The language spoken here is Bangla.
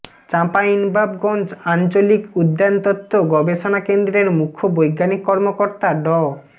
চাঁপাইনবাবগঞ্জ আঞ্চলিক উদ্যানতত্ত্ব গবেষণা কেন্দ্রের মুখ্য বৈজ্ঞানিক কর্মকর্তা ড